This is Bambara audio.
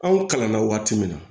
Anw kalanna waati min na